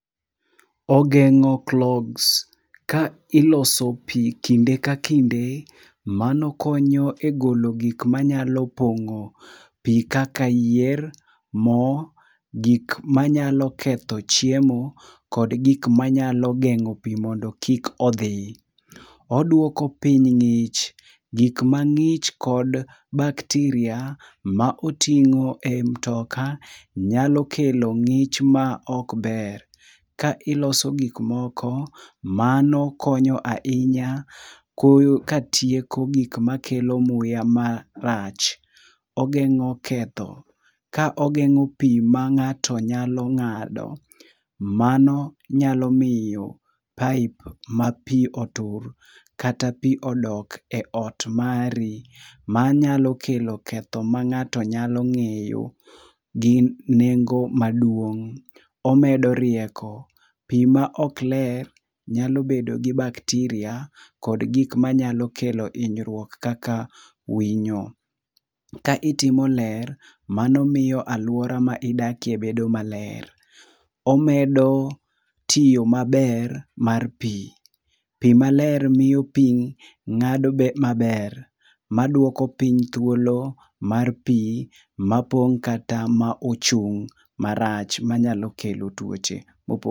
Ogengo clogs, ka iloso pii kinde ka kinde mano konyo e golo gik manyalo pongo pii kaka yier, moo, gik manyalo ketho chiemo kod gik manyalo gengo pii mondo kik odhi. Oduoko piny ngich, gik mangich kod bacteria ma otingo e mtoka nyalo kelo ngich ma ok ber. Ka iloso gik moko mano konyo ahinya koyo katieko gik makelo muya marach. Ogengo ketho, ka ogengo pii ma ng'ato nyalo ng'ado mano nyalo miyo pipe ma tii otur, kata pii odok e ot mari manyalo kelo ketho ma ngato nyalo ngeyo gin nengo maduong. Omedo rieko, pii maok ler nyalo bedo gi bacteria kod gik manyalo kelo hinyruok kaka winyo. Ka itimo ler mano miyo aluora ma idake bedo maler. Omedo tiyo maber mar pii. Pii maler miyo piny ngado maber maduoko piny thuolo mar pii ma pong kata ma ochung marach manyalo kelo tuoche.